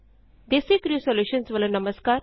DesiCrew solutions ਵੱਲੋ ਨਮਸਕਾਰ